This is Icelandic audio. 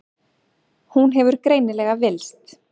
Hún hefur greinilega villst.